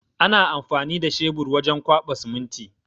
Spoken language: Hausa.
Ana amfani da shebur wajen kwaɓa siminti.